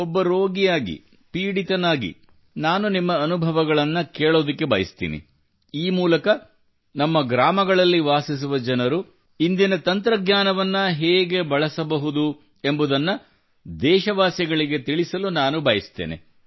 ಒಬ್ಬ ರೋಗಿಯಾಗಿ ಪೀಡಿತನಾಗಿ ನಾನು ನಿಮ್ಮ ಅನುಭವಗಳನ್ನು ಕೇಳಬಯಸುತ್ತೇನೆ ಈ ಮೂಲಕ ನಮ್ಮ ಗ್ರಾಮಗಳಲ್ಲಿ ವಾಸಿಸುವ ಜನರು ಇಂದಿನ ತಂತ್ರಜ್ಞಾನವನ್ನು ಹೇಗೆ ಬಳಸಬಹುದು ಎಂಬುದನ್ನು ದೇಶವಾಸಿಗಳಿಗೆ ತಿಳಿಸಲು ನಾನು ಬಯಸುತ್ತೇನೆ